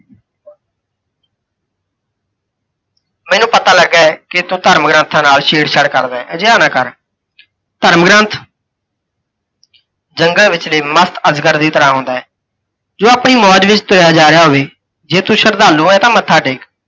ਮੈਨੂੰ ਪਤਾ ਲੱਗਾ ਹੈ ਕਿ ਤੂੰ ਧਰਮ ਗ੍ੰਥਾ ਨਾਲ ਛੇੜਛਾੜ ਕਰਦਾ ਹੈਂ, ਅਜਿਹਾ ਨਾ ਕਰ। ਧਰਮ ਗ੍ੰਥ, ਜੰਗਲ ਵਿੱਚਲੇ ਮਸਤ ਅੱਜਗਰ ਦੀ ਤਰ੍ਹਾਂ ਹੁੰਦਾ ਹੈ, ਜੇ ਓਹ ਆਪਣੀ ਮੌਜ ਵਿੱਚ ਤੁਰਿਆ ਜਾ ਰਿਹਾ ਹੋਵੇ, ਜੇ ਤੂੰ ਸ਼ਰਧਾਲੂ ਹੈ ਤਾਂ ਮੱਥਾ ਟੇਕ।